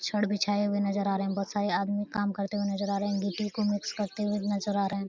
छड़ बिछाए हुए नजर आ रहे हैं। बहुत सारे आदमी काम करते हुआ नजर आ रहें हैं। गिट्टी को मिक्स करते हुए नजर आ रहे हैं।